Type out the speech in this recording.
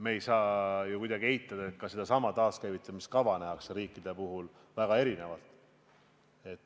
Me ei saa kuidagi eitada, et ka sedasama taaskäivitamise kava nähakse riigiti väga erinevalt.